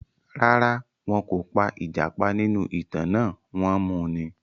Rárá, wọn kò pa ìjàpá nínú ìtàn náà, wọ́n mu ni.